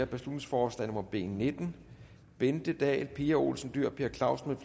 beslutningsforslag nummer b nitten bente dahl pia olsen dyhr per clausen